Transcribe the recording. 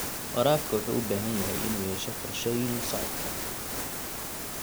Waraabka wuxuu u baahan yahay inuu yeesho qorshooyin la socodka.